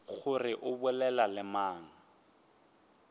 gore o bolela le mang